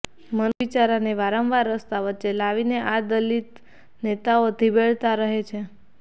મનુ બિચારાને વારંવાર રસ્તા વચ્ચે લાવીને આ દલિત નેતાઓ ધીબેડતા રહે છે